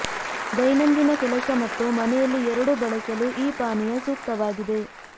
ದೈನಂದಿನ ಕೆಲಸ ಮತ್ತು ಮನೆಯಲ್ಲಿ ಎರಡೂ ಬಳಸಲು ಈ ಪಾನೀಯ ಸೂಕ್ತವಾಗಿದೆ